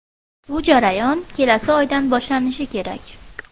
Bu jarayon kelasi oydan boshlanishi kerak.